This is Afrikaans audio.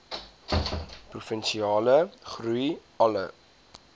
provinsiale groei alle